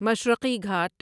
مشرقی گھاٹ